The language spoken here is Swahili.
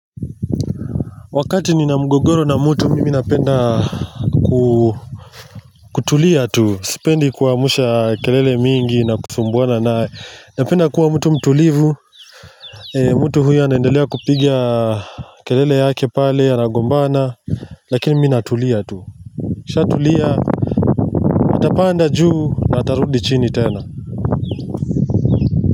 Wakati ni na mgogoro na mtu mimi napenda kutulia tu Sipendi kuamsha kelele mingi na kusumbuana na Napenda kuwa mtu mtulivu mtu huyo anaendelea kupiga kelele yake pale anagombana Lakini mimi natulia tu nikisha tulia, nitapanda juu na atarudi chini tena.